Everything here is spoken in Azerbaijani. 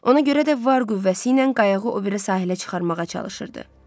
Ona görə də var qüvvəsi ilə qayığı o biri sahilə çıxarmağa çalışırdı.